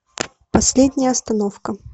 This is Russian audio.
последняя остановка